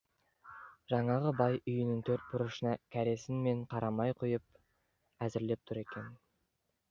жаңағы бай үйінің төрт бұрышына кәресін мен қарамай құйып әзірлеп тұр екен